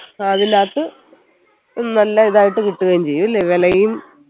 നല്ല ഇതായിട്ട് കിട്ടുകയും ചെയ്യും അല്ലെ വിലയും